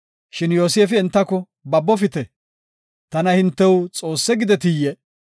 Shin Yoosefi entako, “Babofite, Tana hintew Xoossa gidetiyee?